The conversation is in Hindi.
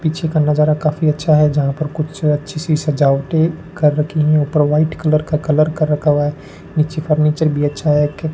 पीछे का नजारा काफी अच्छा है। जहां पर कुछ अच्छी सी सजाबटे कर रखी है। ऊपर व्हाइट कलर का कलर कर रखा हुआ है। नीचे फर्नीचर भी अच्छा है।